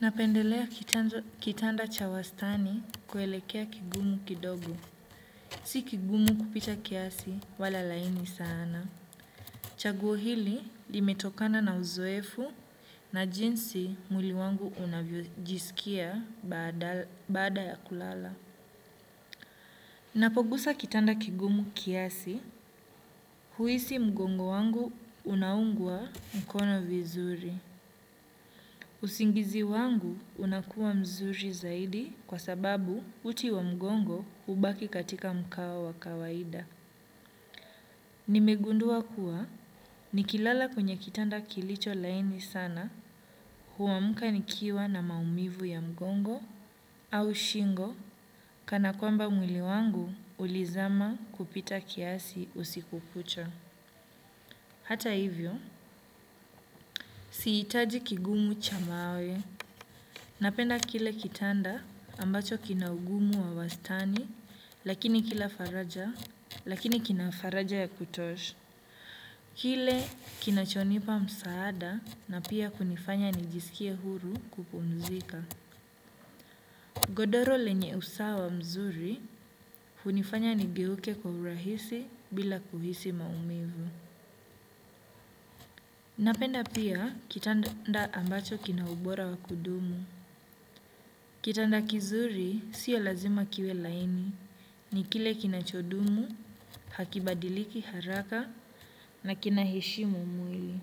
Napendelea kitanda cha wastani kuelekea kigumu kidogo. Si kingumu kupita kiasi wala laini sana. Chaguo hili limetokana na uzoefu na jinsi mwili wangu unavyojisikia baada ya kulala. Napogusa kitanda kingumu kiasi huhisi mgongo wangu unaungwa mkono vizuri. Usingizi wangu unakuwa mzuri zaidi kwa sababu uti wa mgongo hubaki katika mkawa wa kawaida. Nimegundua kuwa nikilala kwenye kitanda kilicho laini sana huamka nikiwa na maumivu ya mgongo au shingo kana kwamba mwili wangu ulizama kupita kiasi usiku kucha. Hata hivyo, sihitaji kingumu cha mawe. Napenda kile kitanda ambacho kinaungumu wa wastani, lakini kila faraja, lakini kina faraja ya kutosha. Kile kinachonipa msaada na pia kunifanya nijisikie huru kupumzika. Godoro lenye usawa mzuri, kunifanya nigeuke kwa urahisi bila kuhisi maumivu. Napenda pia kitanda ambacho kina ubora wa kudumu. Kitanda kizuri sio lazima kiwe laini. Ni kile kinacho dumu, hakibadiliki haraka na kina heshimu mwili.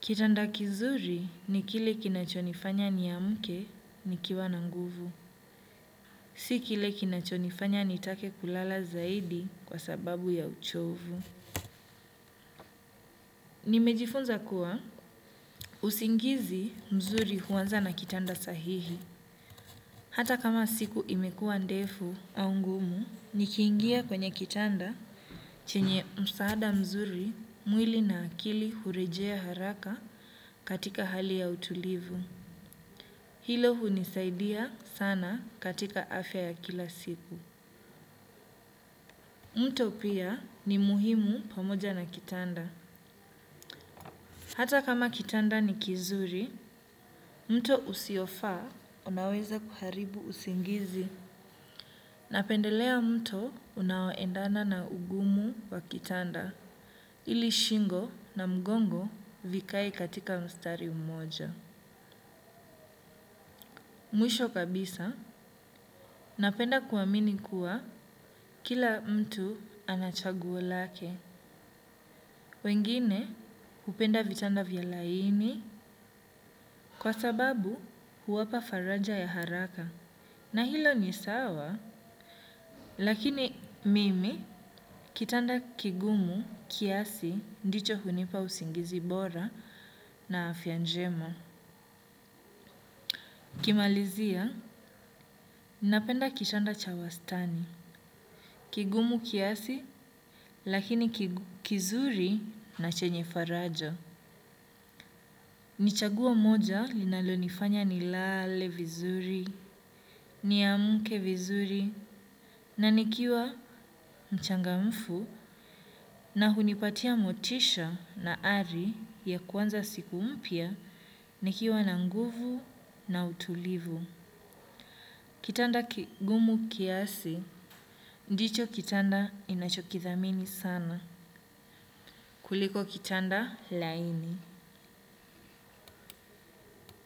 Kitanda kizuri ni kile kina chonifanya ni amke ni kiwa na nguvu. Si kile kinachonifanya nitake kulala zaidi kwa sababu ya uchovu. Nimejifunza kuwa, usingizi mzuri huanza na kitanda sahihi. Hata kam a siku imekuwa ndefu au ngumu, ni kiingia kwenye kitanda chenye msaada mzuri mwili na akili hurejea haraka katika hali ya utulivu. Hilo hunisaidia sana katika afya ya kila siku. Mto pia ni muhimu pamoja na kitanda. Hata kama kitanda ni kizuri, mto usiofaa unaweza kuharibu usingizi. Napendelea mto unaoendana na ungumu wa kitanda, ili shingo na mgongo vikae katika mstari mmoja. Mwisho kabisa, napenda kuamini kuwa kila mtu anachaguo lake. Wengine, hupenda vitanda vya laini kwa sababu huwapa faraja ya haraka. Na hilo ni sawa, lakini mimi kitanda kigumu, kiasi, ndicho hunipa usingizi bora na afya njema. Nikimalizia, napenda kitanda cha wastani, kigumu kiasi, lakini kizuri na chenye faraja. Nichagua moja linalo nifanya ni lale vizuri, ni amke vizuri, na nikiwa mchangamfu na hunipatia motisha na ari ya kuanza siku mpya, nikiwa na nguvu na utulivu. Kitanda kigumu kiasi, ndicho kitanda ninachokidhamini sana. Kuliko kitanda laini.